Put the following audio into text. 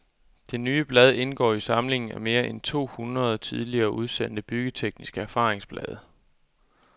Det nye blad indgår i samlingen af mere end to hundrede tidligere udsendte byggetekniske erfaringsblade.